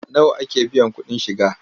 Nawa ake biyan kuɗin shiga?